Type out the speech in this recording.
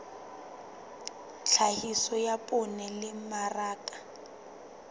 tlhahiso ya poone le mmaraka